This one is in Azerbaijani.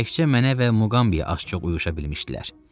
Təkcə mənə və Muqamya az-çox vuruşa bilmişdilər.